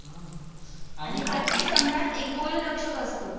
आणि प्रत्येक संघात एक गोल रक्षक असतो